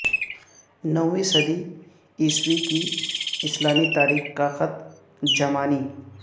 نویں صدی عیسوی کی اسلامی تاریخ کا خط زمانی